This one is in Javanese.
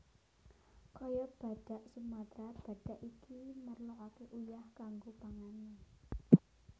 Kaya badhak Sumatra badhak iki merloaké uyah kanggo pangané